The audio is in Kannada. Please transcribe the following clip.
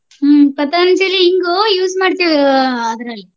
ಹ್ಮ Patanjali ಇಂಗು use ಮಾಡ್ತಿವ ಆಹ್ ಅದ್ರಲ್ಲಿ.